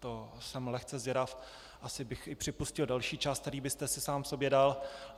To jsem lehce zvědav, asi bych i připustil delší čas, který byste si sám sobě dal.